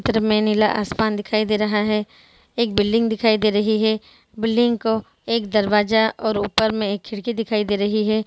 इधर मै नीला आसमान दिखाई दे रहा है एक बिल्डिंग दिखाई रही है बिल्डिंग का एक दरवाजा और ऊपर मै एक खिड़की दिखाई दे रही है।